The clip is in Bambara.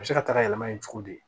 A bɛ se ka taga yɛlɛma yen cogo di